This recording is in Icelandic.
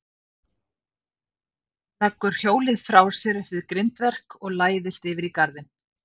Leggur hjólið frá sér upp við grindverk og læðist yfir í garðinn.